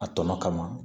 A tɔ kama